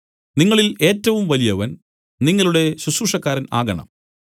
നിങ്ങളിൽ ഏറ്റവും വലിയവൻ നിങ്ങളുടെ ശുശ്രൂഷക്കാരൻ ആകണം